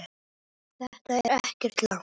Þetta er ekkert langt.